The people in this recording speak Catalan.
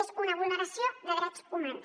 és una vulneració de drets humans